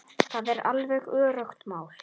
Það er alveg öruggt mál.